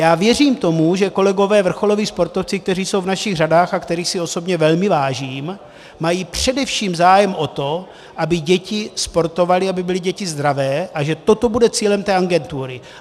Já věřím tomu, že kolegové vrcholoví sportovci, kteří jsou v našich řadách a kterých si osobně velmi vážím, mají především zájem o to, aby děti sportovaly, aby byly děti zdravé, a že toto bude cílem té agentury.